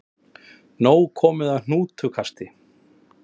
Nóg komið af hnútukasti